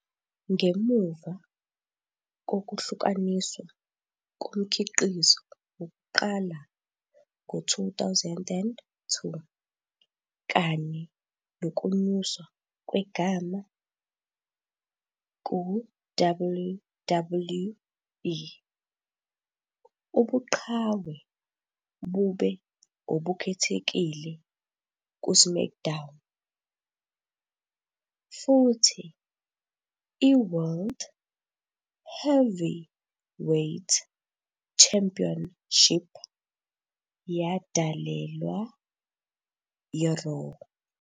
Ngemuva kokuhlukaniswa komkhiqizo wokuqala ngo-2002 kanye nokunyuswa kwegama ku- WWE, ubuqhawe bube obukhethekile ku-SmackDown, futhi i- World Heavyweight Championship yadalelwa i-Raw.